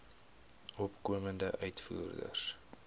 opkomende uitvoerders